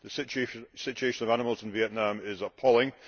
The situation of animals in Vietnam is appalling.